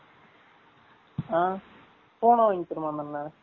ஆ பூனை வாங்கி தருமா அந்த அன்னன்